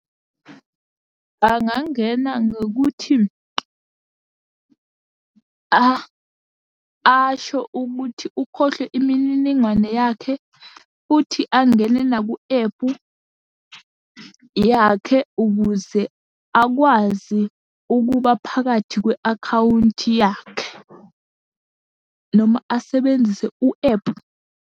Angangena ngokuthi asho ukuthi ukhohlwe imininingwane yakhe, futhi angene naku ephu yakhe, ukuze akwazi ukuba phakathi kwe-akhawunti yakhe, noma asebenzise u-ephu.